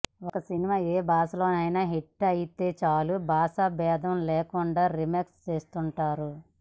ఒక సినిమా ఏ భాషలోనైన హిట్టయితే చాలు భాష బేధం లేకుండా రీమేక్ చేస్తుంటారు